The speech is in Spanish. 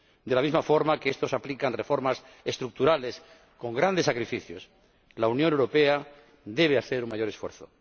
De la misma forma que estos aplican reformas estructurales con grandes sacrificios, la Unión Europea debe hacer un mayor esfuerzo.